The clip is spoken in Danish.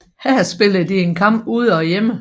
Her spiller de en kamp ude og hjemme